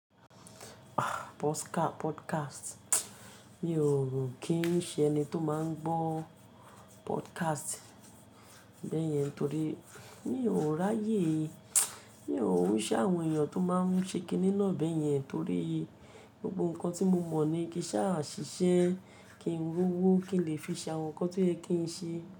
Ah, podcast, mi ò rò ó kí n ṣe ẹni tó máa ń gbọ́ podcast bẹ́yẹn torí mi ò ráyè. Mi ò ki ṣe àwọn èèyàn tó máa ń ṣe kiní náà bẹ́yẹn torí gbogbo nǹkan tí mo mọ̀ ni kí n ṣà ṣìṣe, kí ń ri owó, kí n lè fi ṣe àwọn nǹkan tí ẹ kì ń ṣe.